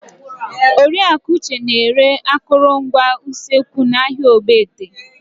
Oriaku Uche na-ere akụrụngwa usekwu n'ahịa Ogbete.